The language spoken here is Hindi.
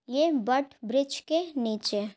ये बट ब्रिज के नीचे--